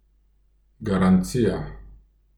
Garancija.